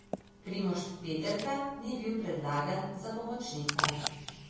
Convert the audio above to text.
Primož Peterka ni bil predlagan za pomočnika.